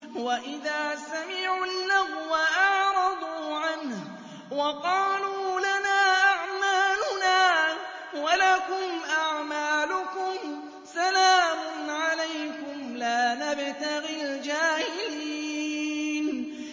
وَإِذَا سَمِعُوا اللَّغْوَ أَعْرَضُوا عَنْهُ وَقَالُوا لَنَا أَعْمَالُنَا وَلَكُمْ أَعْمَالُكُمْ سَلَامٌ عَلَيْكُمْ لَا نَبْتَغِي الْجَاهِلِينَ